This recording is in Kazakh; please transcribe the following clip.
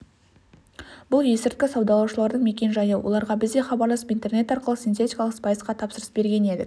бұл есірткі саудалаушылардың мекен-жайы оларға біз де хабарласып интернет арқылы синтетикалық спайсқа тапсырыс берген едік